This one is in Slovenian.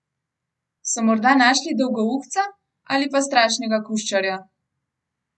So morda našli dolgouhca ali pa strašnega kuščarja?